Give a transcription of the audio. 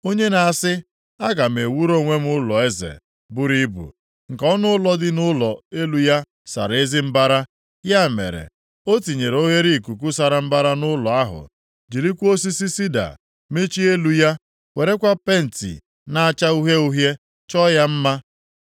Onye na-asị, ‘Aga m ewuru onwe m ụlọeze buru ibu, nke ọnụụlọ dị nʼụlọ elu ya sara ezi mbara.’ Ya mere, ọ tinyere oghereikuku sara mbara nʼụlọ ahụ, jirikwa osisi sida machie elu ya, werekwa penti + 22:14 Ya bụ, mgba na-acha uhie uhie chọọ ya mma.